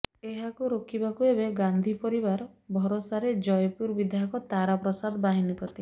ଏହାକୁ ରୋକିବାକୁ ଏବେ ଗାନ୍ଧି ପରିବାର ଭରସାରେ ଜୟପୁର ବିଧାୟକ ତାରା ପ୍ରସାଦ ବାହନୀପତି